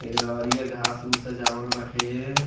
एकरा अरिया घास-उस सजावल बाटे एए